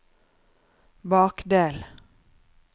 bakdel